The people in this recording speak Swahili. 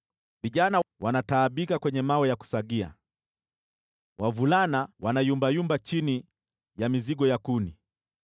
Vijana wanataabika kwenye mawe ya kusagia, wavulana wanayumbayumba chini ya mizigo ya kuni.